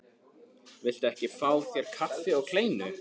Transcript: Viltu ekki fá þér kaffi og kleinu?